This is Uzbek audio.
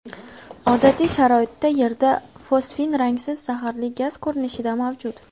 Odatiy sharoitda Yerda fosfin rangsiz zaharli gaz ko‘rinishida mavjud.